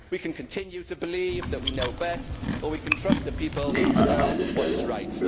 We can continue to believe that we know best or we can trust the people to know what is right.